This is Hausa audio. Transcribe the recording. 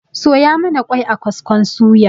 Soya mana ƙwai a kaskon suya